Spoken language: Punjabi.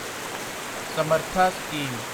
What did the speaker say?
ਸਮਰਥਾ ਸਕੀਮ